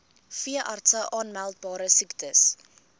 veeartse aanmeldbare siektes